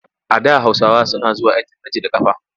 A da Hausawa suna zuwa aikin hajji da ƙafa.